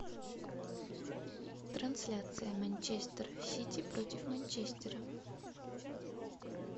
трансляция манчестер сити против манчестера